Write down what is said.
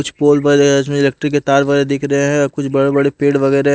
कुछ पोल बरे है इसमें इलेक्ट्रिक के तार बरे दिख रहे हैं कुछ बड़े बड़े पेड़ वगेरे --